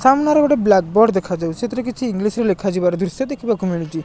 ସାମ୍ନାରେ ଗୋଟେ black board ଦେଖାଯାଉଛି ସେଥିରେ କିଛି ଇଂଲିଶ ରେ ଲେଖାଯିବାର ଦୃଶ୍ୟ ଦେଖିବାକୁ ମିଳୁଛି।